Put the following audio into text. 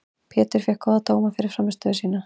Pétur fékk góða dóma fyrir frammistöðu sína.